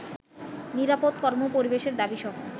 নিরাপদ কর্ম-পরিবেশের দাবীসহ